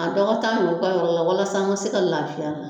A dɔgɔta yɔrɔ walasa an ka se ka laafiya.